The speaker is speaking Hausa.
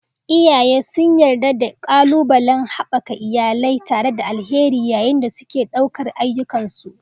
Iyaye sun yarda da ƙalubalen haɓaka iyalai tare da alheri yayin da suke ɗaukar ayyukansu.